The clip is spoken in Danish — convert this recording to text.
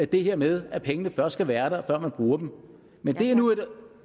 det her med at pengene først skal være der før man bruger dem men det er nu